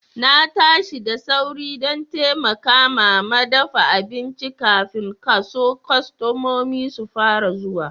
Na tashi da sauri dan taimaka mama dafa abincin kafin kasu kostomomi su fara zuwa.